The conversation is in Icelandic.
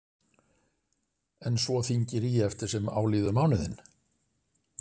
En svo þyngir í eftir sem á líður mánuðinn?